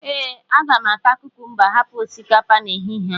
ee, aga m ata kukumba hapụ osikapa n'ehihie a